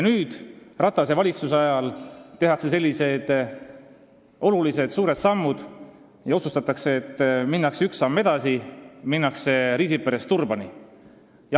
Nüüd, Ratase valitsuse ajal tehakse sellised olulised suured sammud ja otsustatakse, et minnakse üks samm edasi, Riisiperest Turbani.